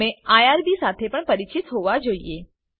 તમે આઇઆરબી સાથે પણ પરિચિત હોવા જોઈએ